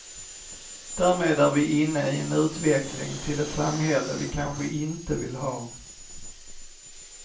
Därmed är vi inne i en utveckling till ett samhälle vi kanske inte vill ha.